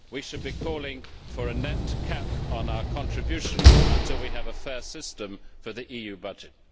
We should be calling for a net cap on our contribution until we have a fair system for the EU budget.